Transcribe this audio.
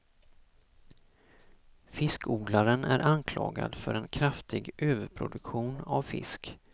Fiskodlaren är anklagad för en kraftig överproduktion av fisk.